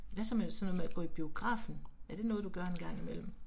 Hvad så med sådan noget med at gå i biografen, er det noget du gør en gang imellem?